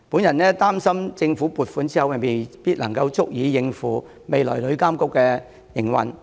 然而，我擔心政府撥款不足以應付旅監局未來的營運開支。